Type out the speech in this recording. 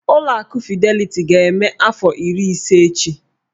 Ụlọ akụ Fideliti ga-eme afọ iri ise echi.